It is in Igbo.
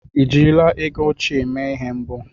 Ị jirila ego óchiè mee ihe mbụ?